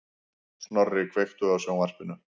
Snorri, kveiktu á sjónvarpinu.